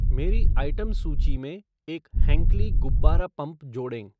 मेरी आइटम सूची में एक हैंक्ली गुब्बारा पंप जोड़ें